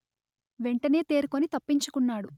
వెంటనే తేరుకొని తప్పించుకున్నాడు